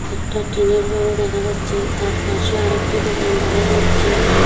একটা টিনের ঘরও দেখা যাচ্ছে তারপাশে আর একটি দোকান দেখা যাচ্ছে।